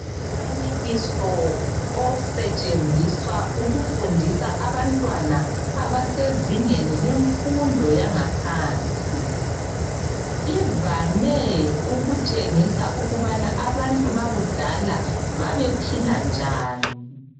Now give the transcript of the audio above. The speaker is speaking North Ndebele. Umfanekiso osetshenziswa ukufundisa abantwana abasezingeni lemfundi yangaphansi ivame ukutshengisa ukubana abantu bakudala babephila njani.